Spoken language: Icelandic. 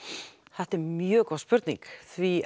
þetta er mjög góð spurning því